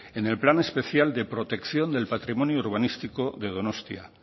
en el plan especial de protección del patrimonio urbanístico de donostia